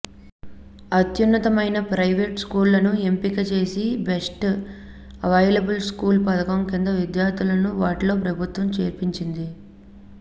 అత్యున్నతమైన ప్రైవేట్ స్కూళ్లను ఎంపిక చేసి బెస్ట్ అవైలబుల్ స్కూల్స్ పథకం కింద విద్యార్థులను వాటిలో ప్రభుత్వం చేర్పించింది